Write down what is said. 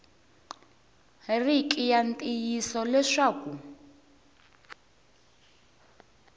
ri ki ya ntiyiso leswaku